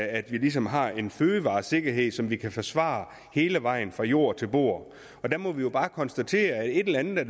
at vi ligesom har en fødevaresikkerhed som vi kan forsvare hele vejen fra jord til bord og der må vi jo bare konstatere at et eller andet er